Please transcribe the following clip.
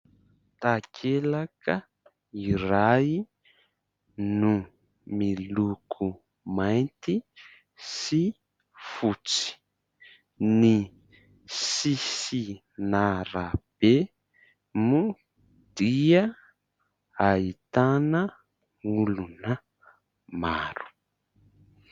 Takelaka iray no miloko mainty sy fotsy, ny sisin'arabe moa dia ahitana olona maro.